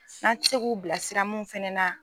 Na ti se k'u bilasira mun fana na.